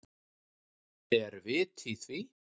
Er vit í því?